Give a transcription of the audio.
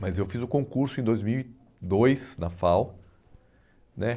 Mas eu fiz o concurso em dois mil e dois, na FAU né.